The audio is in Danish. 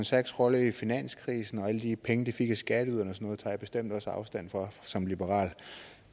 sachs rolle i finanskrisen og alle de penge de fik af skatteyderne og noget tager jeg bestemt også afstand fra som liberal